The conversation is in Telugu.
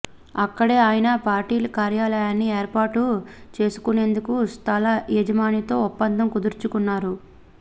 అక్కడే ఆయన పార్టీ కార్యాలయాన్ని ఏర్పాటు చేసుకునేందుకు స్థల యజమానితో ఒప్పందం కుదుర్చుకున్నారు